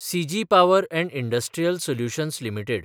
सिजी power and industrial solutions limited